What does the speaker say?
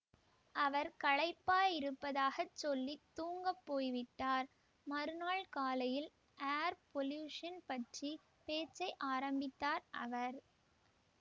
அவர் களைப்பாயிருப்பதாகச் சொல்லி தூங்கப் போய் விட்டார் மறுநாள் காலையில் ஏர் பொல்யூஷன் பற்றி பேச்சை ஆரம்பித்தார் அவர்